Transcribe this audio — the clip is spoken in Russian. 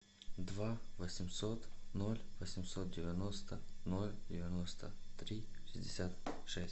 два восемьсот ноль восемьсот девяносто ноль девяносто три шестьдесят шесть